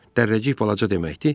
Dərrəcik balaca deməkdir.